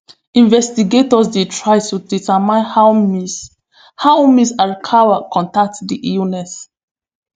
investigators dey try to determine how miss how miss alkawa contract di illness